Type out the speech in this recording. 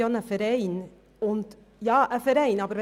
Er hat gesagt, es handle sich um einen Verein.